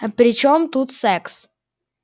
при чем тут секс